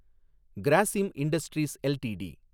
Grasim industries LTD